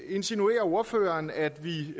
insinuerer ordføreren at vi